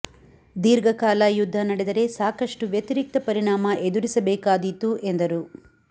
ದೀರ್ಘ ಕಾಲ ಯುದ್ಧ ನಡೆದರೆ ಸಾಕಷ್ಟು ವ್ಯತಿರಿಕ್ತ ಪರಿಣಾಮ ಎದುರಿಸಬೇಕಾದೀತು ಎಂದರು